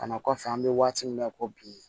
Kana kɔfɛ an bɛ waati min na ko bi